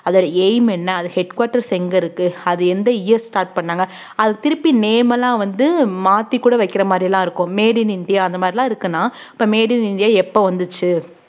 அதோட aim என்ன அது headquarters எங்க இருக்கு அது எந்த year start பண்ணாங்க அது திருப்பி name எல்லாம் வந்து மாத்திக்கூட வைக்கிற மாரியெல்லாம் இருக்கும் made in இந்தியா அந்த மாரியெல்லாம் இருக்குன்னா இப்ப made in இந்தியா எப்ப வந்துச்சு